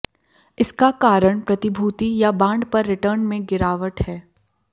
इसका कारण प्रतिभूति या बांड पर रिटर्न में गिरावट है